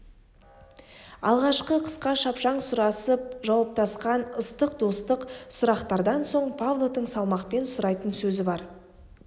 алғашқы қысқа шапшаң сұрасып жауаптасқан ыстық достық сұрақтардан соң павловтың салмақпен сұрайтын сөзі бар